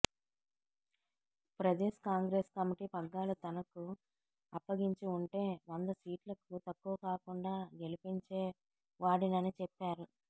Pradesh Congress committee పగ్గాలు తనకు అప్పగించి ఉంటే వంద సీట్లకు తక్కువ కాకుండా గెలిపించే వాడినని చెప్పారు